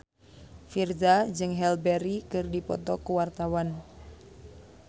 Virzha jeung Halle Berry keur dipoto ku wartawan